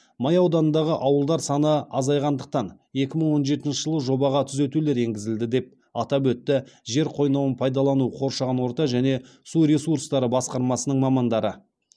май ауданындағы ауылдар саны азайғандықтан екі мың он жетінші жылы жобаға түзетулер енгізілді деп атап өтті жер қойнауын пайдалану қоршаған орта және су ресурстары басқармасының мамандары